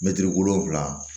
Mɛtiri wolonfila